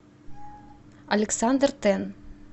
александр тен